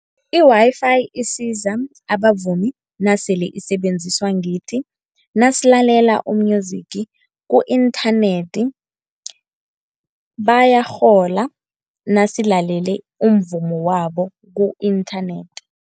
I-Wi-Fi isiza abavumi nasele isebenziswa ngithi nasilalela u-music ku-inthanethi, bayarhola nasilalele umvumo wabo ku-internet.